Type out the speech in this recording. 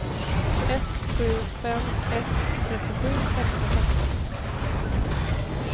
ett sju fem ett trettiosju etthundrafemton